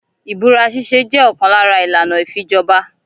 Ibúra ṣiṣe jẹ òkan lára ìlànà ifíjọba.